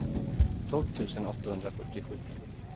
tolv tusen åttahundrafyrtiosju